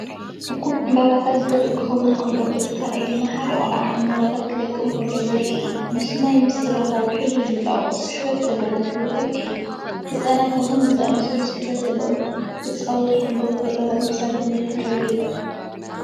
እኩብ ዕምባባታት ዘርኢ ክኸውን ከሎ፡ እቲ ካልኣይ ድማ ሓደ ቆልዓ ዕምባባታት ክለቅም ከሎ ዘርኢ እዩ። ምስ ማይ ምስ ዝራኸቡ ሕብሪ ዝለቅቑ ስሕበት ዘለዎም ሕብርታት እዮም። ህጻናት ብኸምዚ ዝኣመሰለ ስሕበት ዘለዎም ክጻወቱ ከለዉ፡ ፈጠራኦም ክሳብ ክንደይ ክምዕብል ይኽእል?